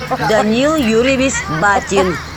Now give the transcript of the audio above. данил юрьевич батин